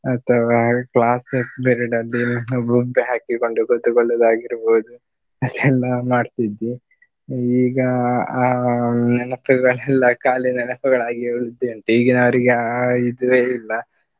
ಅಥವಾ class period ಅಲ್ಲಿ ಗುಂಬೆ ಹಾಕಿಕೊಂಡು ಕೂತುಕೊಳ್ಳುವುದಾಗಿರ್ಬಹುದು ಅದೆಲ್ಲ ಮಾಡ್ತಿದ್ದೆ. ಈಗ ಅಹ್ ಆ ನೆನಪುಗಳೆಲ್ಲ ಖಾಲಿ ನೆನಪುಗಳಾಗಿ ಉಳ್ದಿದಂತೆ ಈಗಿನವರಿಗೆ ಆ ಇದುವೇ ಇಲ್ಲ.